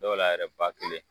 Dɔw la yɛrɛ ba kelen